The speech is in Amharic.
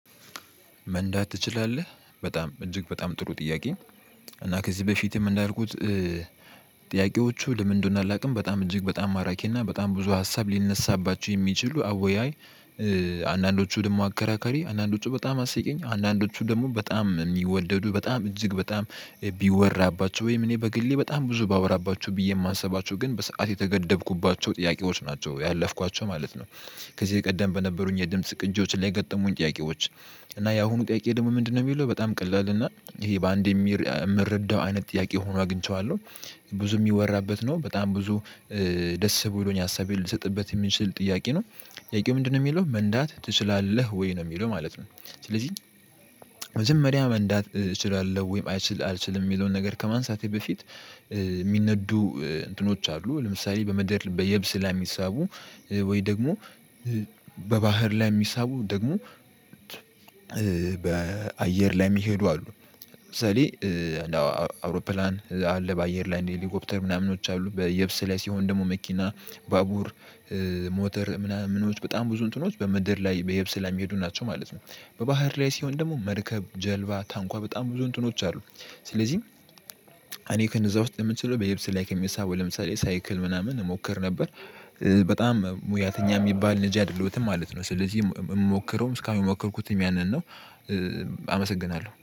መንዳት ትችላለህ በጣም እጅግ በጣም ጥሩ ጥያቄ እና ከዚህ በፊትም እንዳልኩት ጥያቄዎቹ ለምን እንደሆነ አላውቅም በጣም እጅግ በጣም ማራኪ እና በጣም ብዙ ሀሳብ ሊነሳባቸው የሚችሉ አወያይ አንዳንዶቹ ደግሞ አከራከሪ አንዳንዶቹ በጣም አስቂኝ አንዳንዶቹ ደግሞ በጣም የሚወደዱ በጣም እጅግ በጣም ቢወራባቸው ወይም እኔ በግሌ በጣም ብዙ ባወራባቸው ብዬ የማሰባቸው ግን በሰአት የተገደብኩባቸው ጥያቄዎች ናቸው ያለፍኳቸው ማለት ነው ከዚህ ቀደም በነበሩኝ የድምጽ ቅጅዎች ላይ የገጠሙኝ ጥያቄዎች እና ያሁኑ ጥያቄ ደግሞ ምንድነው የሚለው በጣም ቀላል እና ይሄ በአንዴ የምረዳው አይነት ጥያቄ ሆኖ አግኝቼዋለሁ ብዙ የሚወራበት ነው በጣም ብዙ ደስ ብሎኝ ሀሳቤን ልሰጥበት የሚችል ጥያቄ ነው ጥያቄው ምንድነው የሚለው መንዳት ትችላለህ ወይ ነው የሚለው ማለት ነው ስለዚህ መጀመሪያ መንዳት እችላለሁ ወይም አልችልም የሚለውን ነገር ከማንሳቴ በፊት የሚነዱ እንትኖች አሉ ለምሳሌ በምድር በየብስ ላይ የሚሳቡ ወይ ደግሞ በባህር ላይ የሚሳቡ ደግሞ በአየር ላይ የሚሄዱ አሉ ለምሳሌ አውሮፕላን አለ በአየር ላይ ሄሊኮፕተር ምናምኖች አሉ በየብስ ላይ ሲሆን ደግሞ መኪና ባቡር ሞተር ምናምኖች በጣም ብዙ እንትኖች በምድር ላይ በየብስ ላይ የሚሄዱ ናቸው ማለት ነው በባህር ላይ ሲሆን ደግሞ መርከብ ጀልባ ታንኳ በጣም ብዙ እንትኖች አሉ ስለዚህ እኔ ከነዛ ውስጥ የምችለው በየብስ ላይ ከሚሳበው ለምሳሌ ሳይክል ምናምን እሞክር ነበር በጣም ሙያተኛ የሚባል ልጅ አይደለሁትም ማለት ነው ስለዚህ የምሞክረውም እስካሁን የሚሞከርኩትም ያንን ነው አመሰግናለሁ።